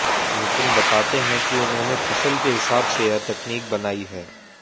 नितिन बताते हैं कि उन्होंने फसल के हिसाब से यह तकनीक बनाई है